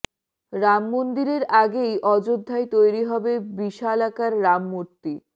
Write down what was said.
রাম মন্দিরের আগেই অযোধ্যায় তৈরী হবে বিশালাকার রাম মূর্তি